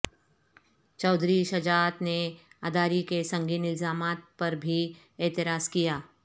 چوہدری شجاعت نے عداری کے سنگین الزامات پر بھی اعتراض کیا